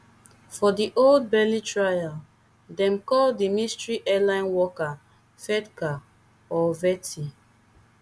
for di old bailey trial dem call di mystery airline worker cvetka or sveti